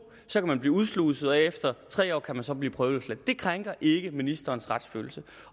så kan man blive udsluset og efter tre år kan man så blive prøveløsladt det krænker ikke ministerens retsfølelse